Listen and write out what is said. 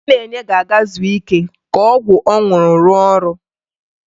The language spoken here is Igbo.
Chinenye ga-aga zuo ike ka ọgwụ ọ ṅụrụ rụọ ọrụ